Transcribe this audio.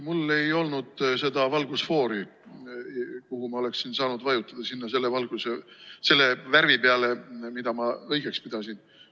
Mul ei olnud seda valgusfoori, kus ma oleksin saanud vajutada selle värvi peale, mida ma õigeks pidasin.